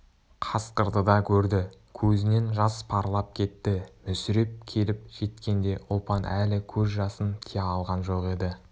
қасқырды да көрді көзінен жас парлап кетті мүсіреп келіп жеткенде ұлпан әлі көз жасын тия алған жоқ еді